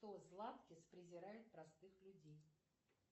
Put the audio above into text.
златкис презирает простых людей